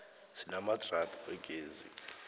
sinamadrada wegezi